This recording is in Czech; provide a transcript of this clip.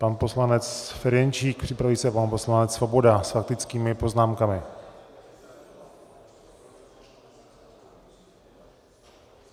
Pan poslanec Ferjenčík, připraví se pan poslanec Svoboda s faktickými poznámkami.